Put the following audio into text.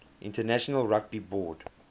international rugby board